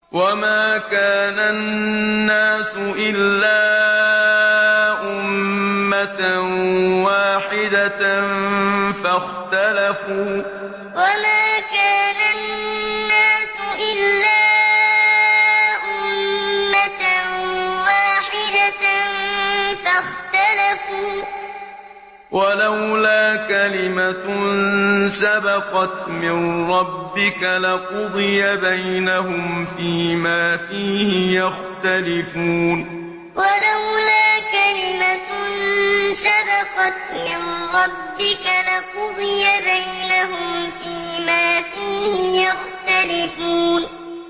وَمَا كَانَ النَّاسُ إِلَّا أُمَّةً وَاحِدَةً فَاخْتَلَفُوا ۚ وَلَوْلَا كَلِمَةٌ سَبَقَتْ مِن رَّبِّكَ لَقُضِيَ بَيْنَهُمْ فِيمَا فِيهِ يَخْتَلِفُونَ وَمَا كَانَ النَّاسُ إِلَّا أُمَّةً وَاحِدَةً فَاخْتَلَفُوا ۚ وَلَوْلَا كَلِمَةٌ سَبَقَتْ مِن رَّبِّكَ لَقُضِيَ بَيْنَهُمْ فِيمَا فِيهِ يَخْتَلِفُونَ